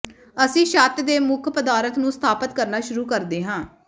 ਅਸੀਂ ਛੱਤ ਦੇ ਮੁੱਖ ਪਦਾਰਥ ਨੂੰ ਸਥਾਪਤ ਕਰਨਾ ਸ਼ੁਰੂ ਕਰਦੇ ਹਾਂ